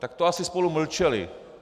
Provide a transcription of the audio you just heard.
Tak to asi spolu mlčeli.